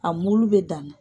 A mulu bɛ dan na